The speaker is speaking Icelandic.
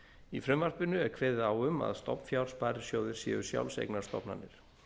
í frumvarpinu er kveðið á um að stofnfjársparisjóðir séu sjálfseignarstofnanir